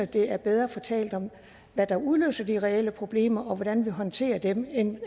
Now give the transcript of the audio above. det er bedre at få talt om hvad der udløser de reelle problemer og hvordan vi håndterer dem end